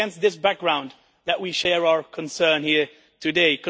It is against this background that we share our concerns here today.